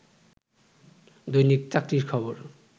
দৈনিক চাকরির খবর